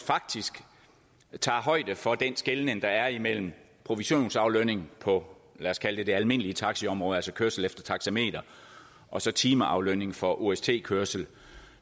faktisk tager højde for den skelnen der er imellem provisionsaflønning på lad os kalde det det almindelige taxiområde altså kørsel efter taxameter og så timeaflønning for ost kørsel